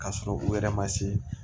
K'a sɔrɔ u yɛrɛ ma se